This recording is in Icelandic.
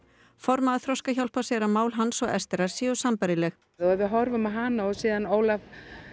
formaður Þroskahjálpar segir að mál hans og séu sambærileg ef við horfum á hana og Ólaf